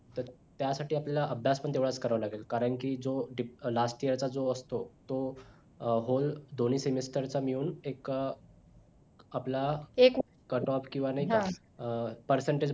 त्या साठी आपल्याला अभ्यास पण तेवढाच करावा लागेल कारण कि जो last year चा जो असतो तो whole दोन्ही semester चा मिळून मी एक आपला cutoff किंवा नाही का अं percentage बनल्या जाते